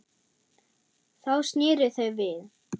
Þá sneru þau við.